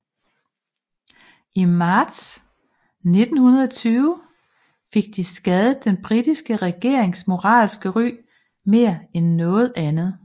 I marts 1920 fik de skadet den britiske regerings moralske ry mere end noget andet